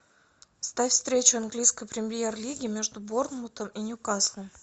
ставь встречу английской премьер лиги между борнмутом и ньюкаслом